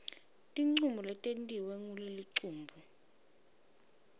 tincomo letentiwe ngulelicembu